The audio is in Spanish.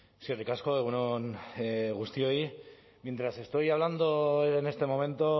eskerrik asko egun on guztioi mientras estoy hablando en este momento